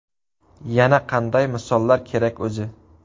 Yana qanday misollar kerak o‘zi?